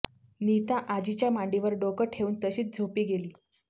नीता आजीच्या मांडीवर डोकं ठेवून तशीच झोपी गेली